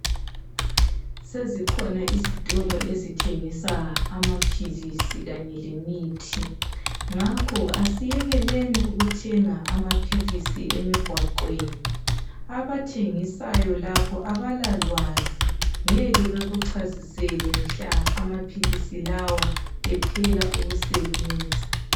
Sezikhona izitolo ezithengisa amaphilisi kanye lemithi. Ngakho asiyekeleni ukuthenga amaphilisi emigwaqweni, abathengisayo lapho abalalwazi ngeke bekuchasisele mhla amaphilisi lawa ephela ukusebenza.